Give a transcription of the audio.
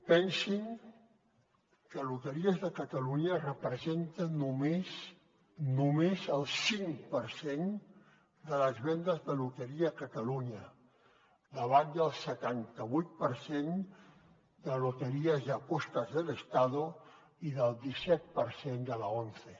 pensin que loteries de catalunya representa només només el cinc per cent de les vendes de loteria a catalunya davant del setantavuit per cent de loterías y apuestas del estado i del disset per cent de l’once